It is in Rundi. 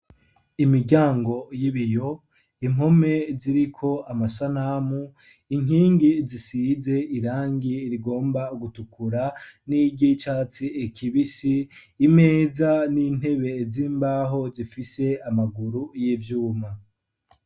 Imiryango y'ibiyo impome ziriko amasanamu inkingi zisize irangi rigomba gutukura n'iryi catsi kibisi imeza n'intebe z'imbaho zifise amaguru y'ivyuma